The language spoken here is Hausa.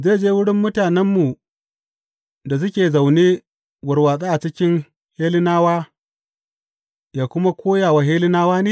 Zai je wurin mutanenmu da suke zaune warwatse a cikin Hellenawa, yă kuma koya wa Hellenawa ne?